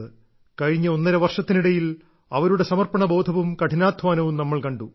കഴിഞ്ഞ ഒന്നര വർഷത്തിനിടയിൽ അവരുടെ സമർപ്പണ ബോധവും കഠിനാധ്വാനവും നമ്മൾ കണ്ടു